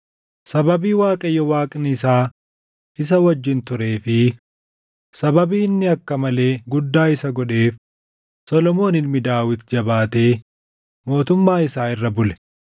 Sababii Waaqayyo Waaqni isaa isa wajjin turee fi sababii inni akka malee guddaa isa godheef Solomoon ilmi Daawit jabaatee mootummaa isaa irra bule.